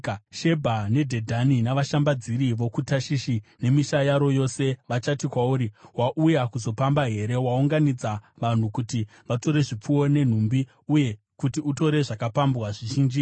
Shebha neDhedhani navashambadziri vokuTashishi nemisha yaro yose vachati kwauri, “Wauya kuzopamba here? Waunganidza vanhu kuti vatore zvipfuwo nenhumbi uye kuti utore zvakapambwa zvizhinji here?” ’